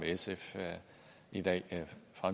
sf i dag